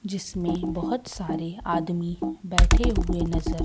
जिसमें बहोत सारे आदमी बैठे हुए नजर--